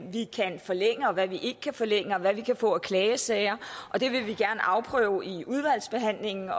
vi kan forlænge og hvad vi ikke kan forlænge og hvad vi kan få af klagesager og det vil vi gerne afprøve i udvalgsbehandlingen